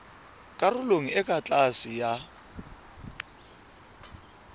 karolong e ka tlase ya